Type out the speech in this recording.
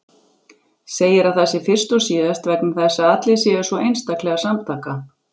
Segir að það sé fyrst og síðast vegna þess að allir séu svo einstaklega samtaka.